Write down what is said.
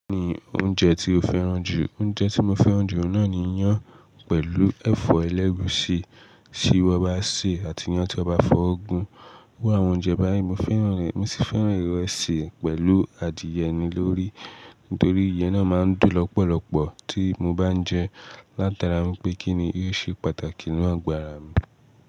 Kí ni oúnjẹ tí o fẹ́ràn jù? Oúnjẹ tí mo fẹ́ràn jù náà ní iyán pẹ̀lú ẹ̀fọ́ ẹlẹ́guusi tí won bá sè é àti iyán tí a bá fọ́ oogun. Iru àwọn oúnjẹ báyìí mo fẹ́ràn rẹ̀, mo sì fẹ́ràn ìrẹsì pẹ̀lú adìẹ mi lórí, nítorí ìyẹ́n náà máa ń dùn lọ́pọ̀lọpọ̀ tí mo bá ń jẹ ẹ́, látara mi pé kí ni yóò ṣe pàtàkì nínú ago ara mi.